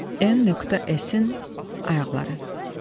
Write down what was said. N.S-in ayaqları.